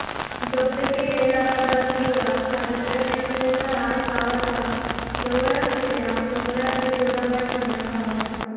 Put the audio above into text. जप्त केलेला हा दारुगोळा तालुक्यातील मोसारा गावाच्या जवळ असलेल्या डोंगरातील गोदामात ठेवण्यात आला होता